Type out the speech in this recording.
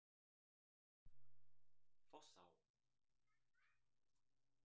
Fossá